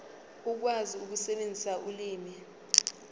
ukwazi ukusebenzisa ulimi